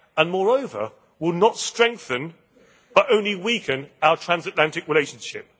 Moreover, they will not strengthen, but only weaken, our transatlantic relationship.